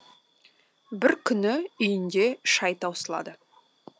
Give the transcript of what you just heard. бір күні үйінде шай таусылады